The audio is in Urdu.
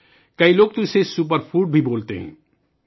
بہت سے لوگ اسے سپر فوڈ بھی کہتے ہیں